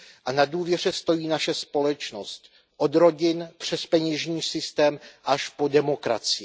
A na důvěře stojí naše společnost od rodin přes peněžní systém až po demokracii.